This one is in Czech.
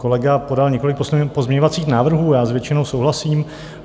Kolega podal několik pozměňovacích návrhů, já s většinou souhlasím.